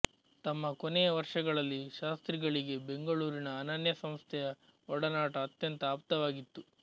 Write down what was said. ತಮ್ಮ ಕೊನೆಯ ವರ್ಷಗಳಲ್ಲಿ ಶಾಸ್ತ್ರಿಗಳಿಗೆ ಬೆಂಗಳೂರಿನ ಅನನ್ಯ ಸಂಸ್ಥೆಯ ಒಡನಾಟ ಅತ್ಯಂತ ಆಪ್ತವಾಗಿತ್ತು